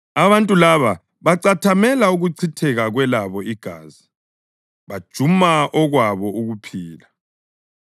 Abantu laba bacathamela ukuchitheka kwelabo igazi; bajuma okwabo ukuphila.